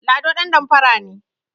Lado ɗandamfara ne